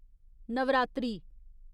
Navratri